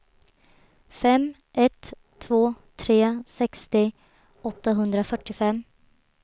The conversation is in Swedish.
fem ett två tre sextio åttahundrafyrtiofem